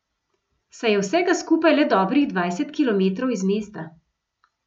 Saj je vsega skupaj le dobrih dvajset kilometrov iz mesta.